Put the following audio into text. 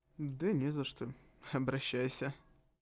да не за что обращайся